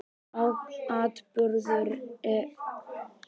Atburðum er markaður staður í tíma með því að nefna ártöl og dagsetningar.